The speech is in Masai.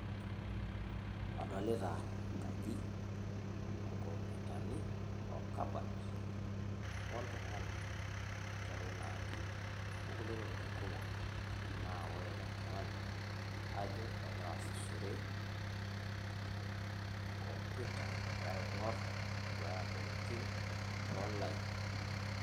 Adolita enkaji, oo nkomputani, o kabat, oltung'ani otii atua ina aji, o nkulie tokitin kumok. Naa ore ele tung'ani, ajo egira aasishore e komputa egira aing'or, neduaya ntokitin teonline.